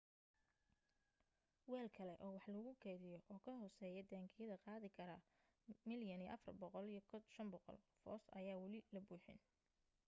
weel kale oo wax lagu kaydiyo oo ka hooseeya taangiyada qaadi kara 104,500 foost ayaa wali la buuxin